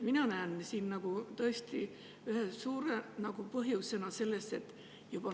Mina näen siin tõesti ühte suurt põhjust.